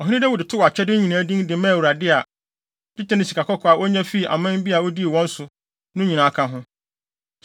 Ɔhene Dawid too akyɛde no nyinaa din de maa Awurade a, dwetɛ ne sikakɔkɔɔ a onya fii aman bi a odii wɔn so no nyinaa ka ho.